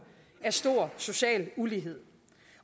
af stor social ulighed